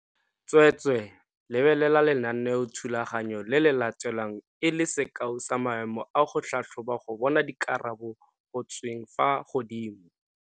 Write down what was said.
Tsweetswee, lebelela lenaneothulaganyo le le latelang e le sekao sa maemo a go tlhatlhoba go bona dikarabo go tsweng fa godimo.